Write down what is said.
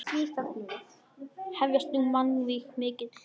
Hefjast nú mannvíg mikil.